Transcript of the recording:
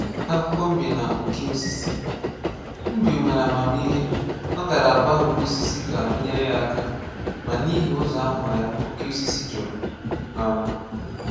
Akụkọ Mbe na Oke Osisi. Mbe nwere amamihe, ọ gara gwa oke osisi ka ọ nyere ya aka, ma n’ihi ụzọ aghụghọ ya, oke osisi jurụ. um